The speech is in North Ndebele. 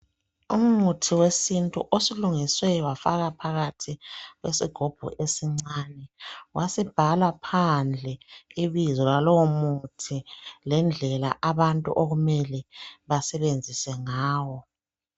Umuthi wesintu osulungiswe wafakwa phakathi kwesigubhu esincane kwasekubhalwa phandle ibizo lalowo muthi lendlela abantu okumele bawusebenzise ngayo.